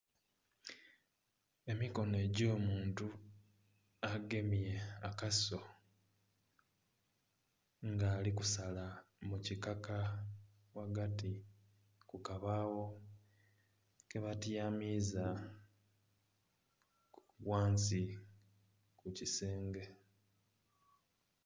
Emikono egy'omuntu agemye akaso nga ali kusala mukikaka ghagati kukabagho kabatyamiza ghansi kukisenge.